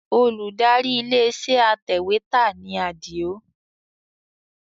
Olùdarí ilé iṣẹ́ atẹ̀wẹ́tà ni Adio